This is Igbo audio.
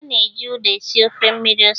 A na-eji ụda esi ofe mmiri ose.